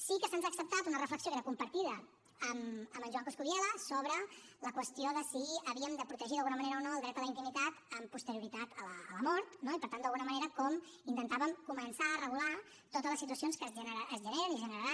sí que se’ns ha acceptat una reflexió que era compartida amb en joan coscubiela sobre la qüestió de si havíem de protegir d’alguna manera o no el dret a la intimitat amb posterioritat a la mort no i per tant d’alguna manera com intentàvem començar a regular totes les situacions que es generen i es generaran